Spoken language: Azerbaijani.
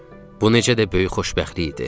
Bu necə də böyük xoşbəxtlik idi.